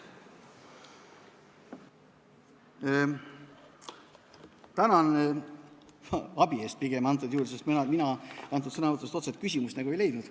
Tänan abi eest, sest mina sõnavõtust otsest küsimust nagu ei leidnud.